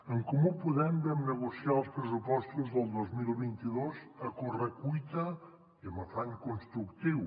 en comú podem vam negociar els pressupostos del dos mil vint dos a correcuita i amb afany constructiu